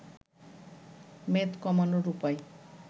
মেদ কমানোর উপায়